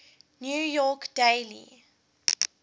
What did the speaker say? new york daily